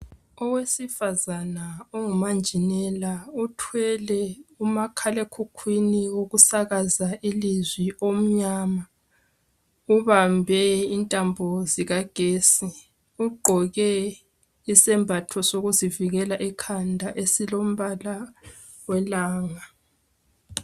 Owesifazana ongumanjinela uthwele umakhalekhukhweni, wokusakazi ilizwi, omnyama. Ubambe intambo zikagesi. Ugqoke isembatho sokuzivikela ekhanda esilombala welanga.